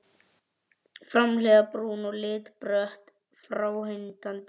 Framhliðin brún að lit, brött og fráhrindandi.